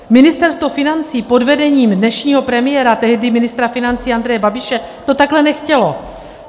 Ministerstvo financí pod vedením dnešního premiéra, tehdy ministra financí Andreje Babiše, to takhle nechtělo.